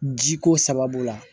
Ji ko sababu la